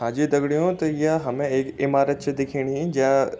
हांजी दगड़ियों तो य हमें एक इमारत छे दिख्येणीं ज्या।